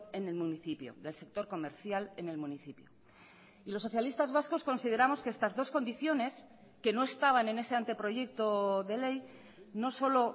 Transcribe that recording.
en el municipio del sector comercial en el municipio y los socialistas vascos consideramos que estas dos condiciones que no estaban en ese anteproyecto de ley no solo